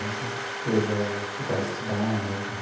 Essas coisas... Procurar estudar, né?